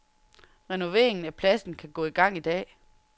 Renoveringen af pladsen kan gå i gang i dag.